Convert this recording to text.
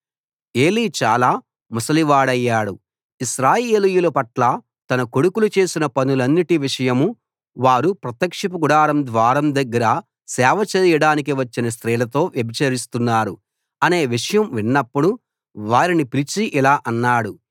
ఏలీ చాలా ముసలివాడయ్యాడు ఇశ్రాయేలీయుల పట్ల తన కొడుకులు చేసిన పనులన్నిటి విషయం వారు ప్రత్యక్షపు గుడారం ద్వారం దగ్గర సేవ చేయడానికి వచ్చిన స్త్రీలతో వ్యభిచరిస్తున్నారు అనే విషయం విన్నప్పుడు వారిని పిలిచి ఇలా అన్నాడు